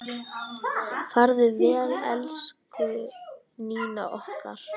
Farðu vel, elsku Nína okkar.